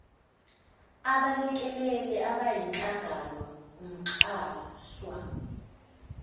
abelekeleli abayizinhlangano umxhaswa